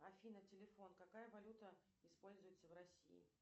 афина телефон какая валюта используется в россии